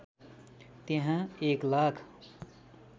त्यहाँ १ लाख